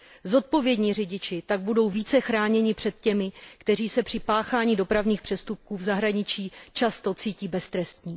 Zodpovědní řidiči tak budou více chráněni před těmi, kteří se při páchání dopravních přestupků v zahraničí často cítí beztrestně.